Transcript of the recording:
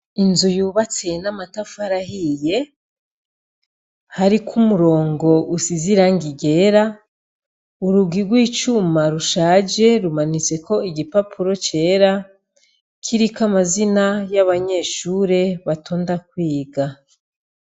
Inzu yubatse n' amatafari ahiye hariko umurongo usize irangi ryera urugi gw' icuma rushaje rumanitseko igipapuro cera kiriko amazina y' abanyeshure batonda kwiga.